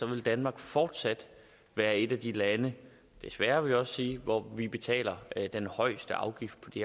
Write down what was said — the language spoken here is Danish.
vil danmark fortsat være et af de lande desværre vil jeg også sige hvor vi betaler den højeste afgift på det